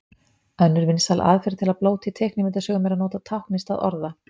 Önnur vinsæl aðferð til að blóta í teiknimyndasögum er að nota tákn í stað orða.